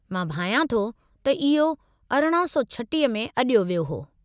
मां भायां थो त इहो 1836 में अॾियो वियो हो।